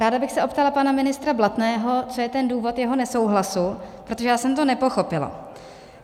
Ráda bych se optala pana ministra Blatného, co je ten důvod jeho nesouhlasu, protože já jsem to nepochopila.